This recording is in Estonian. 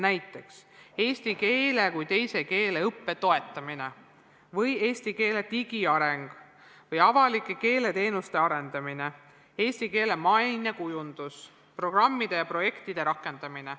Näiteks, eesti keele kui teise keele õppe toetamine või eesti keele digiareng või avalike keeleteenuste arendamine, eesti keele mainekujundus, programmide ja projektide rakendamine.